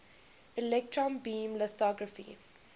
electron beam lithography